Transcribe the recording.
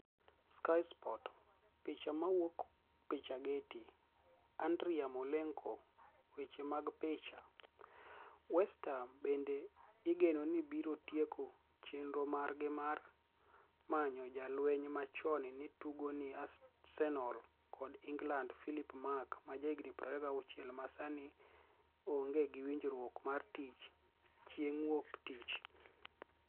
(Sky Sports) Picha mowuok pichaGetty ,Anidriy Yarmoleniko Weche mag picha, West Ham benide igeno nii biro tieko cheniro margi mar maniyo ja-lweniy ma choni ni e tugo ni e Arsenial kod Eniglanid Philip Mark, ma jahignii 26, ma Saanii onige gi winijruok mar tich, chienig' Wuok Tich.